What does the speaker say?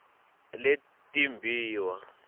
letimbiwa